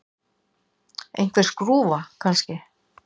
Einhver skrúfa, kannski.